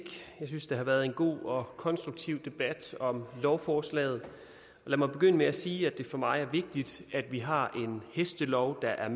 jeg synes at det har været en god og konstruktiv debat om lovforslaget lad mig begynde med at sige at det for mig er vigtigt at vi har en hestelov der er